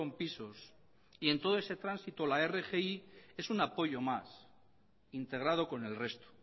pisos y en todo ese tránsito la rgi es un apoyo más integrado con el resto